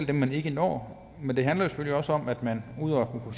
dem man ikke når men det handler selvfølgelig også om at man udover at